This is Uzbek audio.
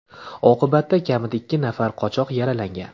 Oqibatda kamida ikki nafar qochoq yaralangan.